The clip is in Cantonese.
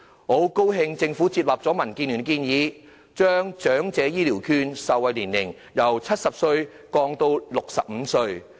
我很高興政府接納民主建港協進聯盟的建議，把長者醫療券受惠對象的年齡限制由70歲降至65歲。